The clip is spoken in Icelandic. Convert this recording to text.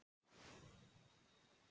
Ekkert amaði að þeim.